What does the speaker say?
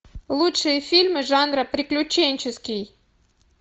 лучшие фильмы жанра приключенческий